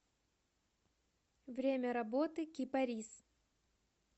время работы кипарис